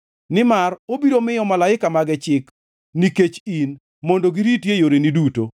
Nimar obiro miyo malaika mage chik nikech in mondo giriti e yoreni duto;